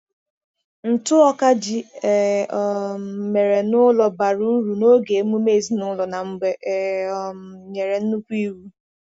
Ntụ ọka ji e um mere n’ụlọ bara uru n’oge emume ezinụlọ na mgbe e um nyere nnukwu iwu.